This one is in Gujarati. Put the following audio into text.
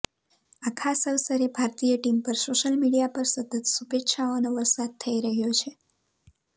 આ ખાસ અવસરે ભારતીય ટીમ પર સોશિયલ મીડિયા પર સતત શુભેચ્છાઓનો વરસાદ થઇ રહ્યો છે